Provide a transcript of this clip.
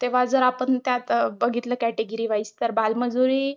तेव्हा जर आपण त्यात बघितलं category wise तर बालमजुरी